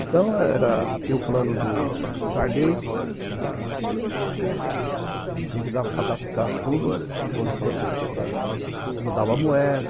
Então, tinha o plano do Sarney, né, a gente tinha que adaptar todos os controles para mudar uma moeda.